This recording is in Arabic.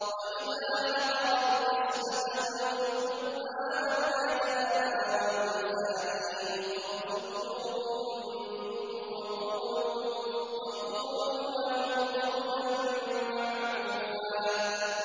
وَإِذَا حَضَرَ الْقِسْمَةَ أُولُو الْقُرْبَىٰ وَالْيَتَامَىٰ وَالْمَسَاكِينُ فَارْزُقُوهُم مِّنْهُ وَقُولُوا لَهُمْ قَوْلًا مَّعْرُوفًا